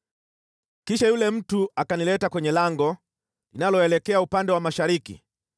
Kisha yule mtu akanileta kwenye lango linaloelekea upande wa mashariki,